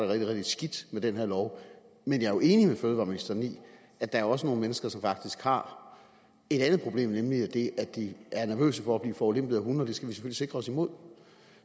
rigtig skidt med den her lov men jeg er jo enig med fødevareministeren i at der også er nogle mennesker som faktisk har et andet problem nemlig det at de er nervøse for at blive forulempet af hunde og det skal vi selvfølgelig sikre os imod